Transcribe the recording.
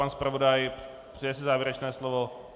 Pan zpravodaj - přeje si závěrečné slovo?